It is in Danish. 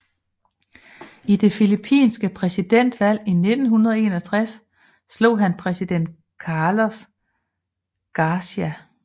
I det Filippinske præsidentvalg 1961 slog han præsident Carlos Garcia